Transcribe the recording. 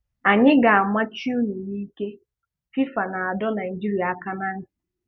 Anyị ga-amachị ụnụ n'ike- FIFA na-adọ Naịjirịa aka na ntị